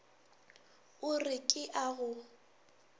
o re ke a go